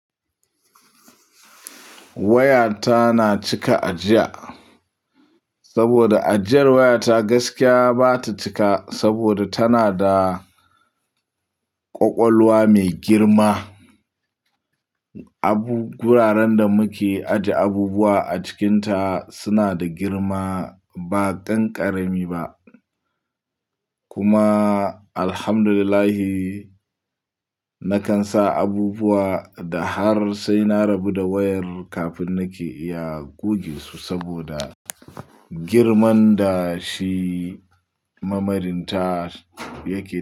Wayata na cika ajiya saboda ajiyar wayata gaskiya ba ta cika saboda tana da ƙwaƙwalwa mai girma. Abu-- guraren da muke ajiye abubuwa a cikinta suna da girma ba ƙanƙara mi ba. Kuma Alhamdulillah, nakan sa abubuwa da har sai na rabu da wayar kafin nake iya goge su saboda girman da shi memorinta yake yi.